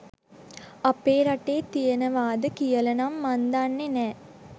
අපේ රටේ තියෙනවද කියලනම් මං දන්නේ නෑ.